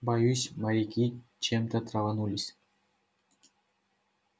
боюсь моряки чем-то траванулись